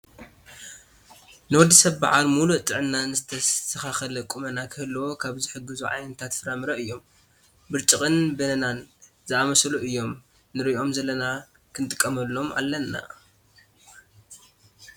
ንወዲ ሰብ ብዓል ሙሉእ ጥዕናን ዝተስተካከለ ቁመና ክህልዎ ካብ ዝሕግዙ ዓይነታት ፍራምረ እዮም። ብረጭቅን በነና ዝኣመሳሰሉ እዮም ንርእዮም ዘለና ክንጥቀመሎም ኣለና።